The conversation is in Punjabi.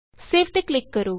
ਸੇਵ ਤੇ ਕਲਿਕ ਕਰੋ